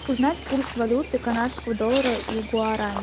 узнать курс валюты канадского доллара и гуарани